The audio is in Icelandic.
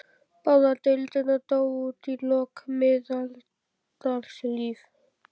Báðar deildirnar dóu út í lok miðlífsaldar.